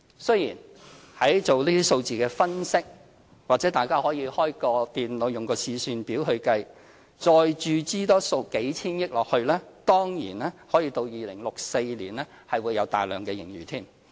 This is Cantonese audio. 雖然在進行這些數字的分析時，或許大家可以開電腦用試算表計算，再注資數千億元下去，當然到2064年是會有大量盈餘。